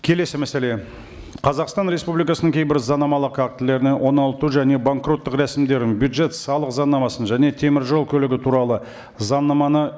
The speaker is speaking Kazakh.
келесі мәселе қазақстан республикасының кейбір заңнамалық актілеріне оңалту және банкроттық рәсімдерін бюджет салық заңнамасын және теміржол көлігі туралы заңнаманы